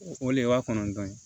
O le y'a kɔnɔntɔn ye